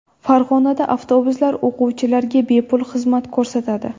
Farg‘onada avtobuslar o‘quvchilarga bepul xizmat ko‘rsatadi.